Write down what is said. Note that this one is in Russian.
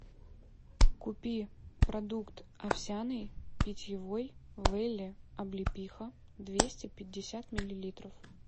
купи продукт овсяный питьевой велле облепиха двести пятьдесят миллилитров